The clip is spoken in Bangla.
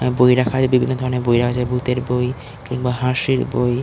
বই রাখা আছে বিভিন্ন ধরনের বই রা আছে ভূতের বই কিংবা হাঁসির বই--